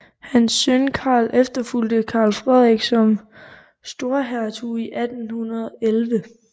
Hans søn Karl efterfulgte Karl Frederik som storhertug i 1811